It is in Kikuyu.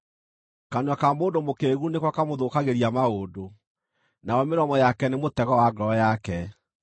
Kanua ka mũndũ mũkĩĩgu nĩko kamũthũkagĩria maũndũ, nayo mĩromo yake nĩ mũtego wa ngoro yake.